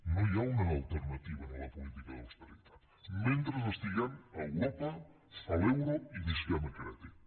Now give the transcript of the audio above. no hi ha una alternativa a la política d’austeritat mentre estiguem a europa a l’euro i visquem a crèdit